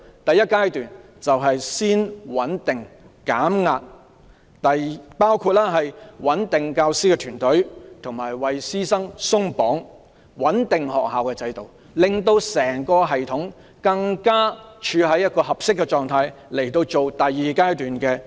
第一階段是先穩定及減壓，包括穩定教師團隊，為師生"鬆綁"，以及穩定學校制度，令整個系統處於更合適的狀態，以進行第二階段的策略實施。